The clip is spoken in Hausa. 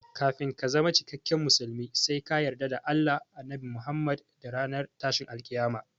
Kafin ka zama cikakken musulmi sai ka yarda da Allah, Annabi Muhammad da ranar tashin alkiyama